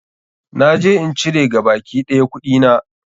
Na je in cire gabaki ɗaya kuɗina.